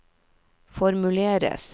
formuleres